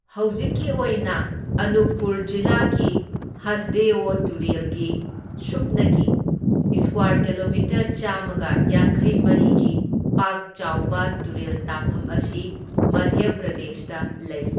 ꯍꯧꯖꯤꯛꯀꯤ ꯑꯣꯏꯅ ꯑꯅꯨꯞꯄꯨꯔ ꯖꯤꯂꯥꯒꯤ ꯍꯁꯗꯦꯑꯣ ꯇꯨꯔꯦꯜꯒꯤ ꯁꯨꯞꯅꯒꯤ ꯢꯁꯀ꯭ꯋꯔ ꯀꯤꯂꯣꯃꯤꯇꯔ ꯆꯥꯝꯃꯒ ꯌꯥꯡꯈꯩꯃꯔꯤꯒꯤ ꯄꯥꯛ ꯆꯥꯎꯕ ꯇꯨꯔꯦꯜ ꯇꯥꯐꯝ ꯑꯁꯤ ꯃꯙ꯭ꯌ ꯄ꯭ꯔꯗꯦꯁꯇ ꯂꯩ꯫